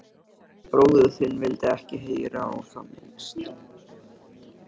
En bróðir þinn vildi ekki heyra á það minnst.